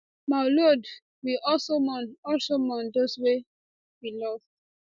maulud we also mourn also mourn those wey we lost